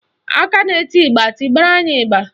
Aka na-eti ịgba, tibara anyị ịgba